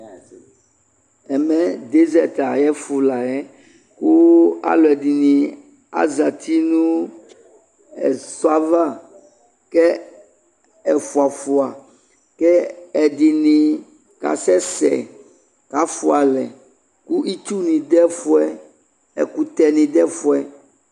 Ɛmɛ disɛt ayefo la yɛ ko alɛdene azati no ɛsɔ ava kɛ ɛfua afua ke ɛdene kasɛsɛ kafua alɛ ko itsu ne dɛ fuɛ, ɛkutɛ ne dɛ fuɛ